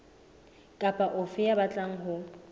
kapa ofe ya batlang ho